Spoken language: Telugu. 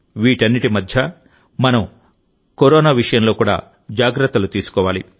వీటన్నింటి మధ్యమనం కరోనా విషయంలో కూడా జాగ్రత్తలు తీసుకోవాలి